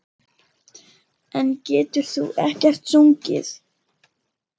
En getur þú ekkert sungið?